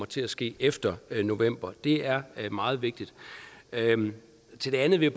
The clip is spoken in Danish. til at ske efter november det er meget vigtigt til det andet vil